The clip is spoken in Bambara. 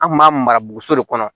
An kun b'a mara boso de kɔnɔ